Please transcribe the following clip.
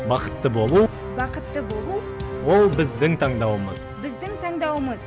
бақытты болу бақытты болу ол біздің таңдауымыз біздің таңдауымыз